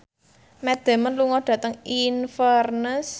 Matt Damon lunga dhateng Inverness